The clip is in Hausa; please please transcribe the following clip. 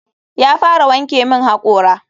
Ya fara wanke min hakora.